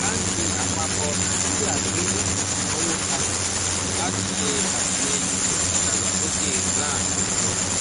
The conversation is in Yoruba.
báńkì àpapọ̀ nàmíbíà gbé ìnáwó kalẹ̀ láti ṣe àtìlẹ́yìn fún ìdàgbàsókè rand link